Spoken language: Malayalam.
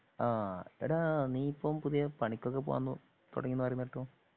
ആ ടാ നീയിപ്പം പുതിയ പണിക്കൊക്കെ പോവാൻ തുടങ്ങീന്നു പറയുന്ന കേട്ടു.